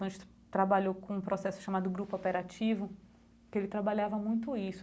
Trabalhou com um processo chamado grupo operativo, que ele trabalhava muito isso.